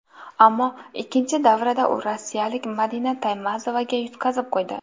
Ammo ikkinchi davrada u rossiyalik Madina Taymazovaga yutqazib qo‘ydi.